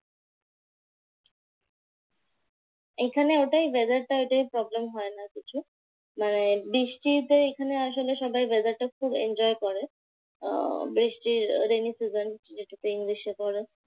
এখানে ওটাই weather টাই ওটাই problem হয়না কিছু। মানে বৃষ্টিতে এখানে আসলে সবাই weather টা খুব enjoy করে। আহ বৃষ্টি rainy season যেটাকে english এ পড়ে